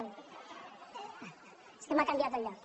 és que m’ha canviat el lloc